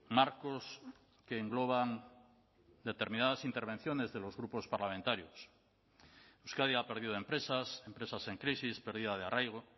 marcos que engloban determinadas intervenciones de los grupos parlamentarios euskadi ha perdido empresas empresas en crisis pérdida de arraigo